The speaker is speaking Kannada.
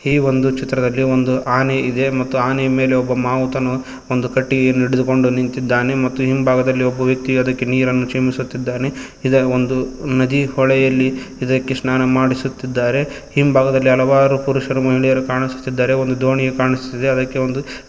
ಈ ಒಂದು ಚಿತ್ರದಲ್ಲಿ ಒಂದು ಆನೆ ಇದೆ ಮತ್ತು ಆನೆಯ ಮೇಲೆ ಒಬ್ಬ ಮಾವುತನು ಒಂದು ಕಟ್ಟಿಗೆಯನ್ನು ಹಿಡಿದುಕೊಂಡು ನಿಂತಿದ್ದಾನೆ ಮತ್ತು ಹಿಂಭಾಗದಲ್ಲಿ ಒಬ್ಬ ವ್ಯಕ್ತಿಯು ಅದಕ್ಕೆ ನೀರನ್ನು ಚಿಮುಕಿಸುತ್ತಿದ್ದಾನೆ ಇದರ ಒಂದು ನದಿ ಹೊಳೆಯಲ್ಲಿ ಇದಕ್ಕೆ ಸ್ನಾನ ಮಾಡಿಸುತ್ತಿದ್ದಾರೆ ಹಿಂಭಾಗದಲ್ಲಿ ಹಲವಾರು ಪುರುಷರು ಮಹಿಳೆಯರು ಕಾಣಿಸುತ್ತಿದ್ದಾರೆ ಒಂದು ದೋಣಿಯೂ ಕಾಣಿಸುತ್ತಿದೆ ಅದಕ್ಕೆ ಒಂದು --